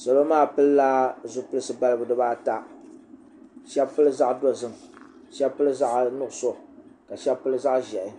salo maa pilila zipilisi balibu dibata shab pili zaɣ dozim shab pili zaɣ nuɣso ka shab pili zaɣ ʒiɛhi